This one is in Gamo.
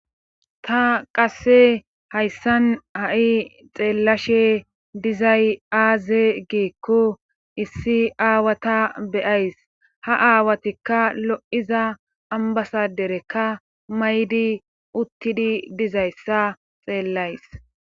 ta qasse hayssan ha7i xeellashe dizay aaze geekko issi aawata beyays ha aawatikka lo7iza ambasa derekka maydi uttidi dizayssa xeellays